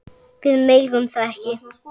Við megum það ekki.